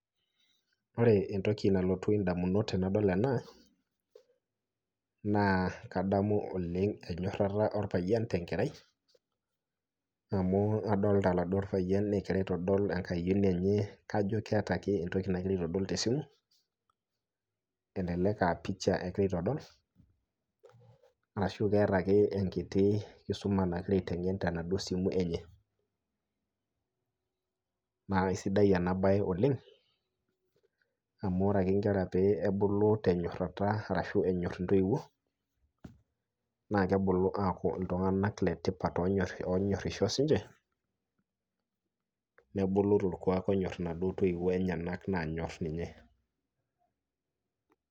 Ore entoki nalotu ndamunot tenadol ena naa kadamu oleng' enyorata orpayian tenkerai, amu adol aladuo payian egira aitodol enkayino enye kajo keeta ake entoki nagira aitodol tesimu, elelek aa picha egira aitodol ashu enkiti kisuma nagira aiteng'en tenaduo simu enye. naa isidan ena bae oleng' amu ore ake pee ebulu nkera tenyorata ashu enyor ntoiwuo naa kebulu aaku iltung'anak letipat oonyorisho siininche nebulu torkuak onyori naduo toiwuo naanyor ninche.